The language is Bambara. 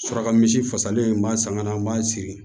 Suraka misi fasalen n b'a san ka na n b'a siri